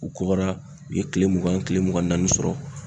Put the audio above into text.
U kɔgɔra u ye tile mugan tile mugan ni naani sɔrɔ.